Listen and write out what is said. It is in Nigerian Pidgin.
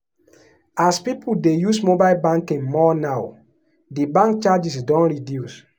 as people dey use mobile banking more now di bank charges don reduce.